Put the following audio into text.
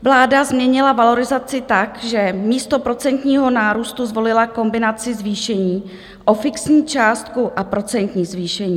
Vláda změnila valorizaci tak, že místo procentního nárůstu zvolila kombinaci zvýšení o fixní částku a procentní zvýšení.